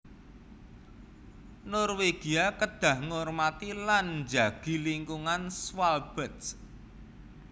Norwegia kedah ngormati lan njagi lingkungan Svalbard